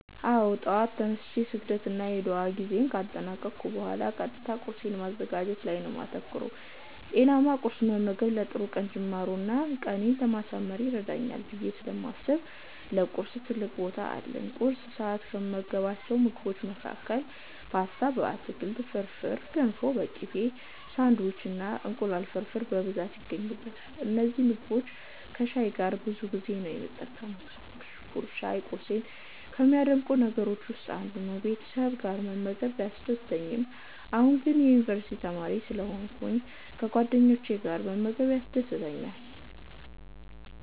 አዎ! ጠዋት ተነስቼ የስግደት እና ዱዓ ጊዜየን ካጠናቀኩ ቡሃላ ቀጥታ ቁርሴን ማዘጋጀት ላይ ነው የማተኩረው። ጤናማ ቁርስ መመገብ ለጥሩ ቀን ጅማሮ እና ቀኔን ለማሳመር ይረዳኛል ብየ ስለማስብ ለቁርስ ትልቅ ቦታ አለኝ። ቁርስ ሰዐት ላይ ከምመገባቸው ምግቦች መሀከል ፓስታ በአትክልት፣ ፍርፍር፣ ገንፎ በቅቤ፣ ሳንዲዊች እና እንቁላል ፍርፍር በብዛት ይገኙበታል። እነዚህን ምግቦች ከሻይ ጋር ነው ብዙ ጊዜ የምጠቀመው። ሻይ ቁርሴን ከሚያደምቁ ነገሮች ውስጥ ነው። ቤተሰብ ጋር መመገብ ቢያስደስትም ነገር ግን አሁን የዩኒቨርስቲ ተማሪ ስለሆንኩ ከጓደኞቼ ጋር መመገብ ያስደስተኛል።